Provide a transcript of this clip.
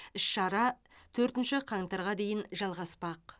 іс шара төртінші қаңтарға дейін жалғаспақ